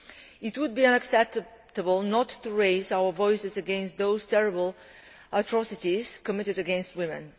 It would be unacceptable not to raise our voices against these terrible atrocities being committed against women.